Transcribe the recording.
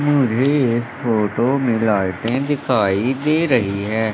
मुझे एक फोटो में लाइटें दिखाई दे रही है।